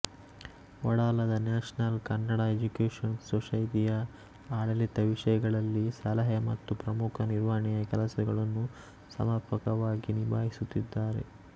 ವಡಾಲದ national Kannada education society ಯ ಆಡಳಿತ ವಿಷಯಗಳಲ್ಲಿ ಸಲಹೆಮತ್ತು ಪ್ರಮುಖ ನಿರ್ವಹಣೆಯ ಕೆಲಸಗಳನ್ನು ಸಮರ್ಪಕವಾಗಿ ನಿಭಾಯಿಸುತ್ತಿದ್ದಾರೆ